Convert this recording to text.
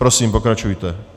Prosím pokračujte.